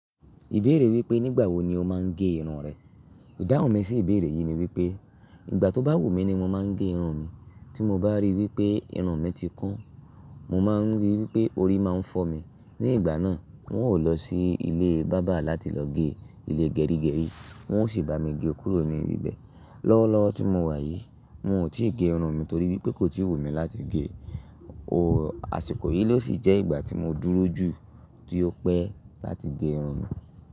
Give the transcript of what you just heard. Ìbéèrè wípé nígbà wo ni o máa ń gé irun rẹ? Ìdáhùn mi sí ìbéèrè yìí ni wípé, ìgbà tó bá wù mí ni mo máa ń gé irun mi. Tí mo bá rí wípé irun mi ti kún, mo máa ń rí wípé orí máa ń fọ́ mi. Ní ìgbà náà, n ó lọ sí ilé bábà láti lọ gé ilé gẹrígẹrí, wọn ó sì bá mi gé kúrò ní ibi bẹ́ẹ̀. Lọ́wọ́lọ́wọ́ tí mo wà yìí, mo ò tí ì gé irun mi torí wípé kò tíì wù mí láti gé ọ. Àsìkò yìí ló sì jẹ́ ìgbà tí mo dúró jù tí ó pẹ́ láti gé irun mi.